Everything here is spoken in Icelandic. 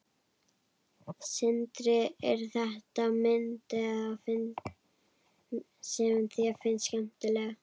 Sindri: Er þetta mynd sem þér finnst skemmtileg?